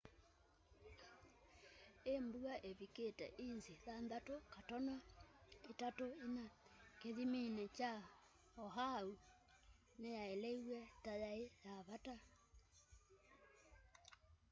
i mbua ivikite inzi 6.34 kithimini kya oahu niyaeleiw'e ta yai ya vata